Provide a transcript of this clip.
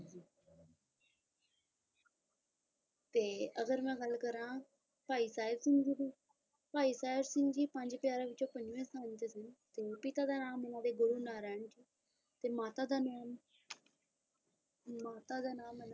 ਤੇ ਅਗਰ ਮੈਂ ਗੱਲ ਕਰਾਂ ਭਾਈ ਸਾਹਿਬ ਸਿੰਘ ਜੀ ਦੀ ਭਾਈ ਸਾਹਿਬ ਸਿੰਘ ਜੀ ਪੰਜ ਪਿਆਰਿਆਂ ਵਿੱਚੋਂ ਪੰਜਵੇ ਸਥਾਨ ਤੇ ਸੀ ਤੇ ਪਿਤਾ ਦਾ ਨਾਮ ਉਹਨਾਂ ਦੇ ਗੁਰੂ ਨਾਰਾਇਣ ਤੇ ਮਾਤਾ ਦਾ ਨਾਮ ਮਾਤਾ ਦਾ ਨਾਮ ਇਹਨਾਂ ਦਾ